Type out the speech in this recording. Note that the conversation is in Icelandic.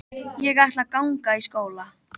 Ég ætla að ganga í skóla.